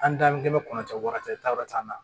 An damukɛmɛ kɔnɔ kɔnɔ cɛ wɔɔrɔ cɛ taar'an na